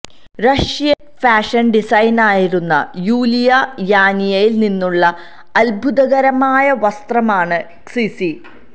Russian fashion ഡിസൈനറായിരുന്ന Yulia യാനീനയിൽ നിന്നുള്ള അത്ഭുതകരമായ വസ്ത്രമാണ് ക്സിസി